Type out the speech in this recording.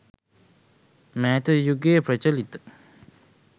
මෑත යුගයේ ප්‍රචලිත